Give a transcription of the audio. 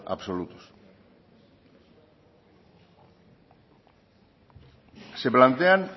absolutos se plantean